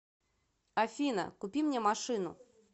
афина купи мне машину